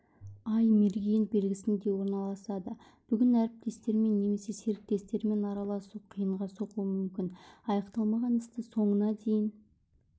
ай мерген белгісінде орналасады бүгін әріптестермен немесе серіктестермен араласу қиынға соғуы мүмкін аяқталмаған істі соңына дейін